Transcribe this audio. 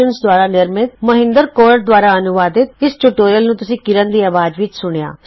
LTD ਦੁਆਰਾ ਨਿਰਮਤ ਅਤੇ ਮੌਹਿੰਦਰ ਕੌਰ ਦੁਆਰਾ ਅਨੁਵਾਦਿਤ ਇਸ ਟਯੂਟੋਰਿਅਲ ਨੂੰ ਤੁਸੀ ਕਿਰਣ ਦੀ ਅਵਾਜ਼ ਵਿੱਚ ਸੁਣਿਆ